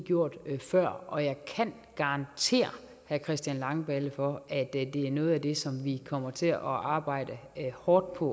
gjorde den ikke før og jeg kan garantere herre christian langballe for at det er noget af det som vi kommer til at arbejde hårdt på